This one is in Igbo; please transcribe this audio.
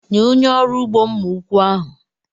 Nye onye ọrụ ugbo mma ụkwụ ahụ.